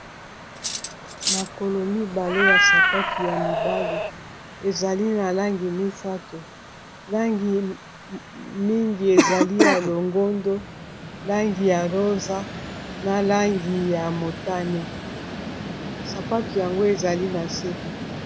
Makolo mibale ya sapatu ya mibali ezali na langi misato langi mingi ezali ya longondo, langi ya rosa, na langi ya motane, sapatu yango ezali na se.